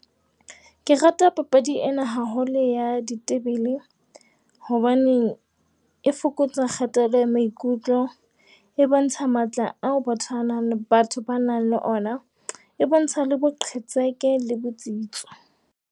Ke rata papadi ena haholo ya ditebele. Hobaneng e fokotsa kgatello e maikutlo. E bontsha matla ao ba tobanang batho ba nang le ona, e bontsha le boqhetseke le botsitso.